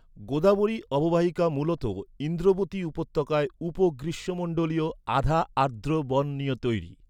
গোদাবরী অববাহিকা মূলত ইন্দ্রবতী উপত্যকায় উপ গ্রীষ্মমন্ডলীয়, আধা আর্দ্র বন নিয়ে তৈরি।